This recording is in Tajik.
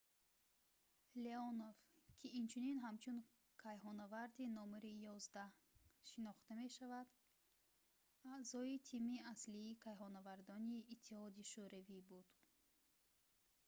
леонов ки инчунин ҳамчун кайҳоннаварди № 11 шинохта мешавад аъзои тими аслии кайҳоннавардони иттиҳоди шӯравӣ буд